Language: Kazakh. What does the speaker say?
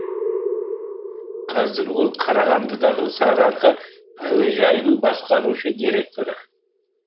қазір ол қарағандыдағы сарыарқа әуежайының басқарушы директоры